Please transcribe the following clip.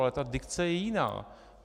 Ale ta dikce je jiná.